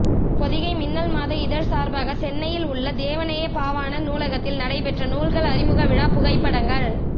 பொதிகை மின்னல் மாத இதழ் சார்பாக சென்னையில் உள்ள தேவநேயப் பாவாணர் நூலகத்தில் நடைப்பெற்ற நூல்கள் அறிமுக விழா புகைப்படங்கள்